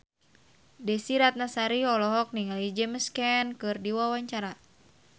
Desy Ratnasari olohok ningali James Caan keur diwawancara